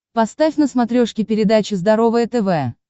поставь на смотрешке передачу здоровое тв